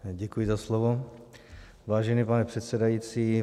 Děkuji za slovo, vážený pane předsedající.